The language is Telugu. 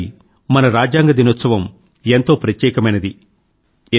ఈసారి మన రాజ్యాంగ దినోత్సవంగా ఎంతో ప్రత్యేకమైనది